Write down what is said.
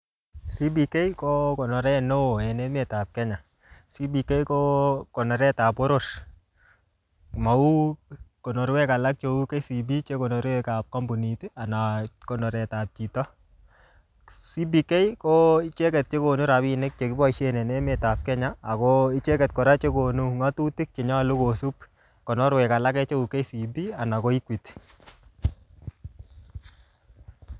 CBk ko konoret neoo en emetap Kenya. CBK ko konoretap boror. Mauu konorwek alak cheu KCB chekonore kap kampunit, anan konoretab chito. CBK ko icheket che konu rabinik che kiboisien en emetap Kenya, ako icheket kora chekonu ng'atutik chenyolu kosub konorekwek alake cheu KCB, anan ko Equity